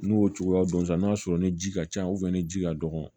N'o cogoya don sisan n'a sɔrɔ ni ji ka ca ni ji ka dɔgɔ